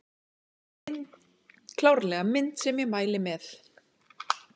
Klárlega mynd sem ég mæli með